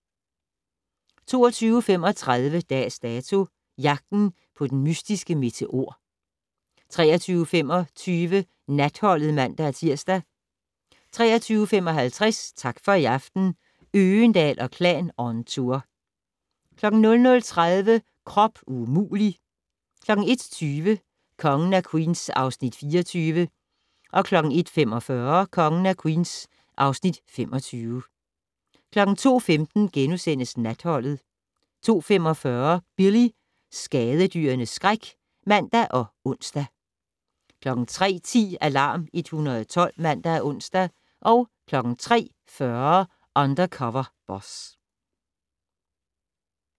22:35: Dags Dato: Jagten på den mystiske meteor 23:25: Natholdet (man-tir) 23:55: Tak for i aften - Øgendahl & Klan on tour 00:30: Krop umulig! 01:20: Kongen af Queens (Afs. 24) 01:45: Kongen af Queens (Afs. 25) 02:15: Natholdet * 02:45: Billy - skadedyrenes skræk (man og ons) 03:10: Alarm 112 (man og ons) 03:40: Undercover Boss